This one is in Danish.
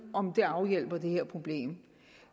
om det afhjælper det her problem